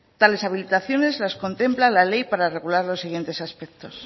tales especificaciones las contempla la ley para regular los siguientes aspectos